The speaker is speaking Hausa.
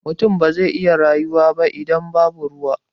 Mutum ba zai iya rayuwa ba idan babu ruwa.